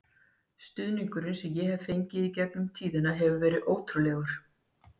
Stuðningurinn sem ég hef fengið í gegnum tíðina hefur verið ótrúlegur.